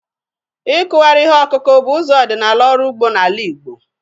Ịkụgharị ihe ọkụkụ bụ ụzọ ọdịnala ọrụ ugbo n'ala Igbo.